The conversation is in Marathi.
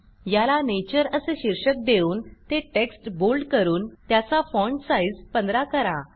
याला नेचर असे शीर्षक देऊन ते टेक्स्ट बोल्ड करून त्याचा फाँट साईज 15 करा